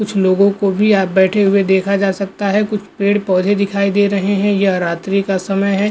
कुछ लोगों को भी आप बैठे हुए देखा जा सकता है कुछ पेड़-पौधे दिखाई दे रहे हैं यह रात्रि का समय है --